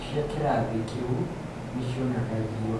cia kĩrathi kĩu nĩ cionanagio.